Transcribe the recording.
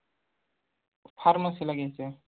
Pharmacy ला घ्यायचंय